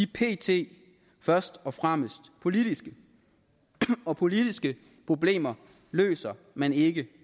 pt først og fremmest politiske og politiske problemer løser man ikke